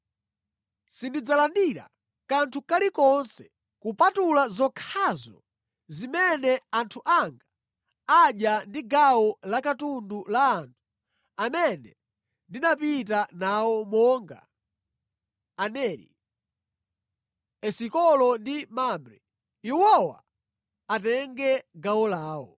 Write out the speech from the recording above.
Sindidzalandira kanthu kalikonse kupatula zokhazo zimene anthu anga adya ndi gawo la katundu la anthu amene ndinapita nawo monga Aneri, Esikolo ndi Mamre. Iwowa atenge gawo lawo.”